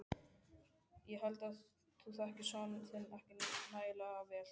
Ég held þú þekkir son þinn ekki nægilega vel.